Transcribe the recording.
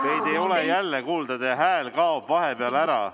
Teid ei ole jälle kuulda, teie hääl kaob vahepeal ära.